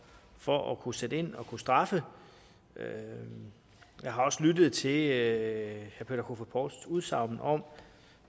for at kunne sætte ind og kunne straffe jeg har også lyttet til herre peter kofod poulsens udsagn om